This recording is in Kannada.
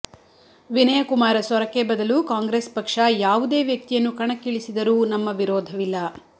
ವಿನಯ ಕುಮಾರ ಸೊರಕೆ ಬದಲು ಕಾಂಗ್ರೆಸ್ ಪಕ್ಷ ಯಾವುದೇ ವ್ಯಕ್ತಿಯನ್ನು ಕಣಕ್ಕಿಳಿಸಿದರೂ ನಮ್ಮ ವಿರೋಧವಿಲ್ಲ